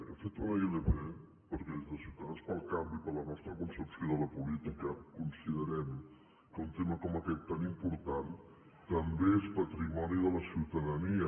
hem fet una ilp perquè des de ciutadans pel canvi per la nostra concepció de la política considerem que un tema com aquest tan important també és patrimoni de la ciutadania